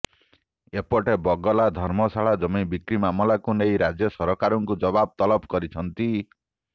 ଏପଟେ ବଗଲା ଧର୍ମଶାଳା ଜମି ବିକ୍ରି ମାମଲାକୁ ନେଇ ରାଜ୍ୟ ସରକାରଙ୍କୁ ଜବାବ ତଲବ କରିଛନ୍ତି